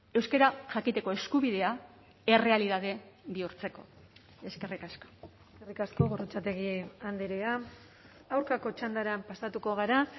euskara jakiteko eskubidea errealitate bihurtzeko eskerrik asko eskerrik asko gorrotxategi andrea aurkako txandara pasatuko gara